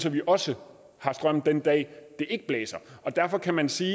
at vi også har strøm den dag det ikke blæser derfor kan man sige